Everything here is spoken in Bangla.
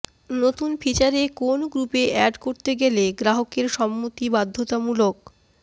নতুন ফিচারে কোন গ্রুপে অ্যাড করতে গেলে গ্রাহকের সম্মতি বাধ্যতামুলক